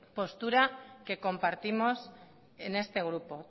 postura que compartimos en este grupo